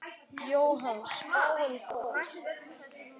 Jóhann: Spáin góð?